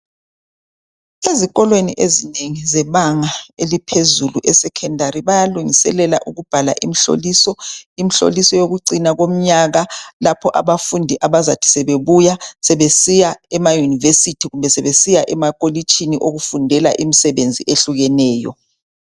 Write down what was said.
Ezikolweni ezinengi zebanga eliphezulu esecondary bayalungiselela ukubhala imhloliso. Imhloliso wokuciina komnyaka lapho abafundi abazathi sebebuya sebesiya emaYunivesithi kumbe sebesiya emakolitshini okufundelwa imsebenzi ehlukeneyo.